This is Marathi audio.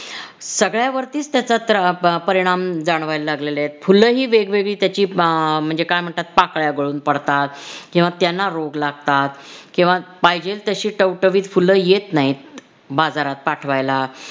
सगळ्यावरतीच त्याचा त्रा~ परिणाम जाणवायला लागलेला आहे फुलही वेगवेगळी त्याची आह म्हणजे काय म्हणतात पाकळ्या गळून पडतात किंवा त्यांना रोग लागतात किंवा पाहिजे तशी टवटवीत फुल येत नाहीत बाजारात पाठवायला